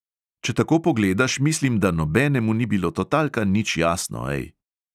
Če tako pogledaš, mislim, da nobenemu ni bilo totalka nič jasno, ej.